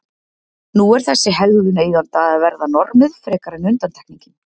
Nú er þessi hegðun eigenda að verða normið frekar en undantekningin.